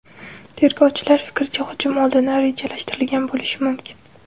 Tergovchilar fikricha, hujum oldindan rejalashtirilgan bo‘lishi mumkin.